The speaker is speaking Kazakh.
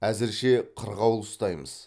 әзірше қырғауыл ұстаймыз